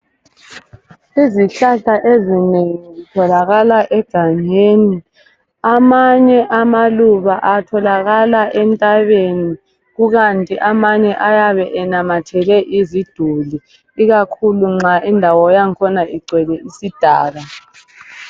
Izihlahla ezinengi zitholakala egangeni, amanye amaluba atholakala entabeni kukanti amanye ayabenamathele iziduli ikakhulu nxa indawo yakhona igcwele isidaka.